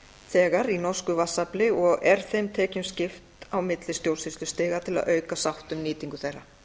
þegar í norsku vatnsafli og er þeim tekjum skipt á milli stjórnsýslustiga til að auka sátt um nýtingu þeirra